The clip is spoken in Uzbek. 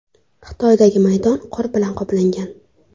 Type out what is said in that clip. Xitoydagi maydon qor bilan qoplangan.